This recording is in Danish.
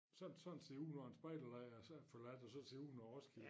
Sådan sådan ser det ud når en spejder er forladt og sådan ser det ud når Roskilde